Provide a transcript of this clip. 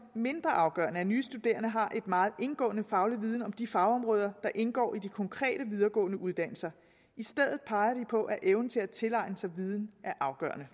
mindre afgørende at nye studerende har en meget indgående faglig viden om de fagområder der indgår i de konkrete videregående uddannelser i stedet peger de på at evnen til at tilegne sig viden er afgørende